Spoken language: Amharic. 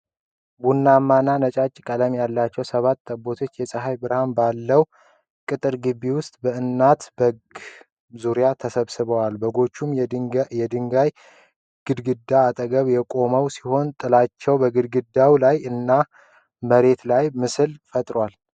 ቡናማ እና ነጫጭ ቀለም ያላቸው ሰባት ጠቦቶች የጸሃይ ብርሃን ባለው ቅጥር ግቢ ዉስጥ በእናት በግ ዙሪያ ተሰብስበዋል። በጎቹም የድንጋይ ግድግዳ አጠገብ የቆሙ ሲሆን ጥላቸውም በግድግዳው ላይ እና በመሬቱ ላይ ምስልን ፈጥሯል።